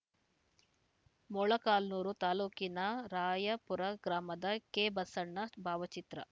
ಮೊಳಕಾಲ್ಮುರು ತಾಲೂಕಿನ ರಾಯಾಪುರ ಗ್ರಾಮದ ಕೆಬಸಣ್ಣ ಭಾವಚಿತ್ರ